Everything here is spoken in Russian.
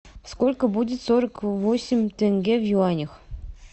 сколько будет сорок восемь тенге в юанях